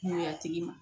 Ŋuwɛɲɛtigi ma